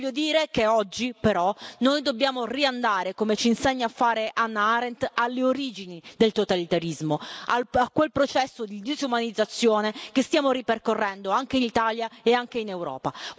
Voglio dire che oggi però, noi dobbiamo riandare, come ci insegna a fare Hannah Arendt, alle origini del totalitarismo, a quel processo di disumanizzazione che stiamo ripercorrendo anche in Italia e anche in Europa.